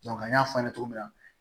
an y'a fɔ a ɲɛna cogo min na